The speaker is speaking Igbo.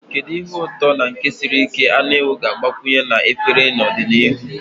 Kedu ihe ụtọ na nke siri ike anụ ewu ga-agbakwunye na efere n'ọdịnihu?